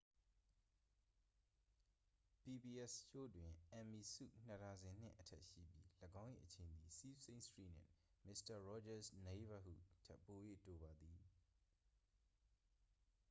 pbs ရှိုးတွင် emmy ဆု နှစ်ဒါဇင်နှင့် အထက်ရှိပြီး ၎င်း၏အချိန်သည် sesame street နှင့် mister rogers' neighborhood ထက်ပို၍တိုပါသည်